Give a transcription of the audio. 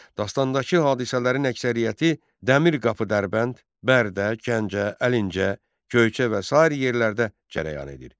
Dastandakı hadisələrin əksəriyyəti Dəmirqapı Dərbənd, Bərdə, Gəncə, Əlincə, Göyçə və sair yerlərdə cərəyan edir.